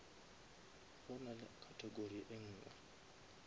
go na le category enngwe